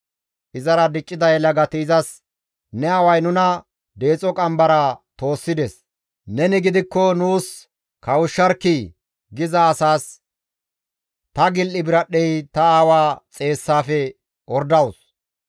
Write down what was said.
Izara diccida yelagati izas, « ‹Ne aaway nuna deexo qambaraa toossides; neni gidikko nuus kawushsharkkii!› giza asaas, ‹Ta gil7i biradhdhey ta aawa xeessaafe ordawus.